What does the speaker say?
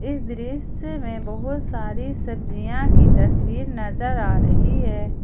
इस दृश्य में बहुत सारी सब्जियां की तस्वीर नजर आ रही है।